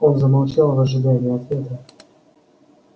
он замолчал в ожидании ответа